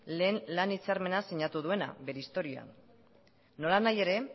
lehen lan hitzarmena sinatu duena bere historia nolanahi ere